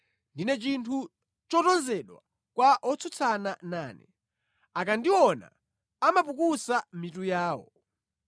Ndine chinthu chotonzedwa kwa otsutsana nane; akandiona, amapukusa mitu yawo.